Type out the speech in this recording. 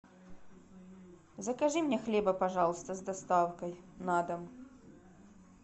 закажи мне хлеба пожалуйста с доставкой на дом